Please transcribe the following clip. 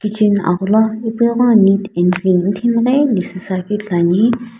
chin agholo ipuno ighono neat and clean mithemghei lesusu akeu ithuluani.